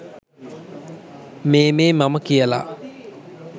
මේ මේ මම කියලා.